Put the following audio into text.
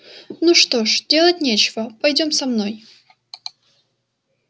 ну что ж делать нечего пойдём со мной